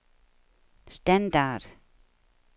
standard